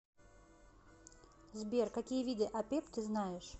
сбер какие виды апеп ты знаешь